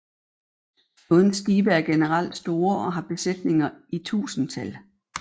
Flådens skibe er generelt store og har besætninger i tusindtal